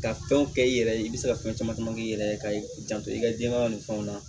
Ka fɛnw kɛ i yɛrɛ ye i bɛ se ka fɛn caman caman k'i yɛrɛ ye ka i janto i ka denbaya nun fɛnw na